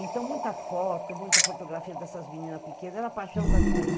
Então, muita foto, muita fotografia dessas meninas pequenas, era a paixão da vida dele.